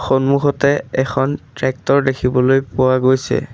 সন্মুখতে এখন ট্ৰেক্টৰ দেখিবলৈ পোৱা গৈছে।